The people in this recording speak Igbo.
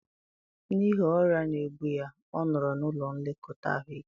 N'ihi ọrịa na-egbu ya, ọ nọrọ n'ụlọ nlekọta ahụike